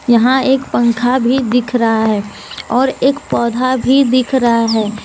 यहां एक पंखा भी दिख रहा है और एक पौधा भी दिख रहा है।